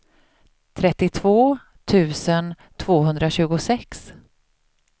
trettiotvå tusen tvåhundratjugosex